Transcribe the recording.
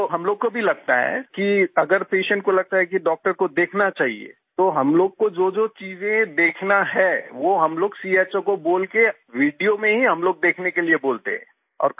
जी वो हम लोग को भी लगता है कि अगर पेशेंट को लगता है कि डॉक्टर को देखना चाहिए तो हम लोग को जोजो चीज़ें देखना है वो हम लोगचो को बोल के वीडियो में ही हम लोग देखने के लिए बोलते हैं